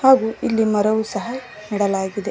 ಹಾಗು ಇಲ್ಲಿ ಮರವು ಸಹ ನೆಡಲಾಗಿದೆ.